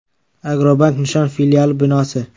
“Agrobank” Nishon filiali binosi.